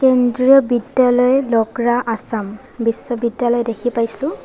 কেন্দ্ৰীয় বিদ্যালয় ল'কৰা আছাম বিশ্ববিদ্যালয় দেখি পাইছোঁ।